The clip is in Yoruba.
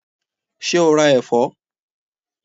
Ṣé o ra ẹ̀fọ́?